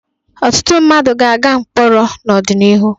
Ọtụtụ mmadụ ga-aga mkpọrọ n'ọdịnihu.